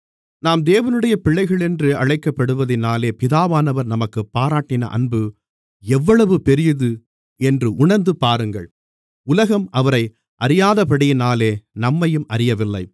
நாம் தேவனுடைய பிள்ளைகள் என்று அழைக்கப்படுவதினாலே பிதாவானவர் நமக்குப் பாராட்டின அன்பு எவ்வளவு பெரியது என்று உணர்ந்து பாருங்கள் உலகம் அவரை அறியாதபடியினாலே நம்மையும் அறியவில்லை